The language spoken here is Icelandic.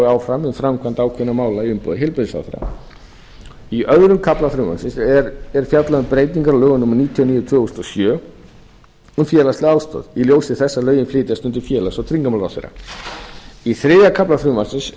áfram um framkvæmd ákveðinna mála í umboði heilbrigðisráðherra í öðrum kafla frumvarpsins er fjallað um breytingar á lögum númer níutíu og níu tvö þúsund og sjö um félagslega ábyrgð í ljósi þess að lögin flytjast undir félags og tryggingamálaráðherra í þriðja kafla frumvarpsins